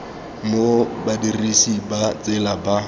mo badirisi ba tsela ba